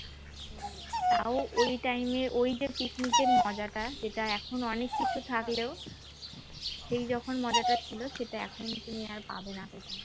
তাও ওই time এ ওই যে picnic এর মজাটা সেটা এখন অনেক কিছু থাকলেও সেই যখন মজাটা ছিল সেটা এখন তুমি আর পাবে না